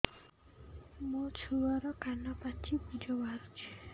ମୋ ଛୁଆର କାନ ପାଚି ପୁଜ ବାହାରୁଛି